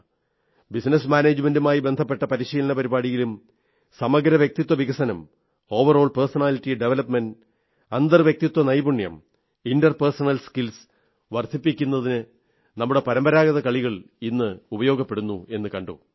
business മാനേജമെന്റുമായി ബന്ധപ്പെട്ട പരിശീലന പരിപാടിയിലും സമഗ്ര വ്യക്തിത്വ വികസനം ഓവറോൾ പേഴ്സണാലിറ്റി ഡവലപ്മെന്റ് അന്തർവ്യക്തിത്വ നൈപുണ്യം ഇന്റർ പേഴ്സണൽ സ്കിൽസ് വർധിപ്പിക്കുന്നതിന് നമ്മുടെ പരമ്പരാഗത കളികൾ ഇന്ന് ഉപയോഗിക്കപ്പെടുന്നു എന്നു കണ്ടു